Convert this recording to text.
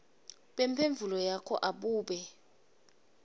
bemphendvulo yakho abube